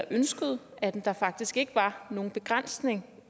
ønsker at der faktisk ikke er nogen begrænsning